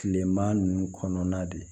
Kilema ninnu kɔnɔna de ye